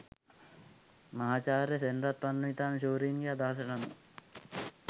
මහාචාර්ය සෙනරත් පරණවිතාන ශූරීන්ගේ අදහසට අනුව